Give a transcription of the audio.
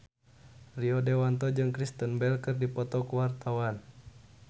Rio Dewanto jeung Kristen Bell keur dipoto ku wartawan